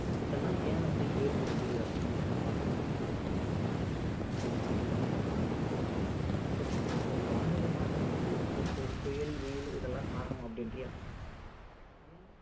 இதெல்லாம் என் வந்து ஏற்படுது அப்படின்னு வந்து பார்த்திங்கன்னா ஆஹ் வானிலை மாற்றம் அப்படின்னு வந்து சொல்றாங்க வானிலை மாற்றமா ஒரு வானிலை மாற்றத்துக்கு இந்த புயல் வெயில் இதெல்லாம் காரணம் அப்படின்றியா ஆமா ஏன்னா